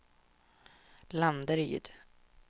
Landeryd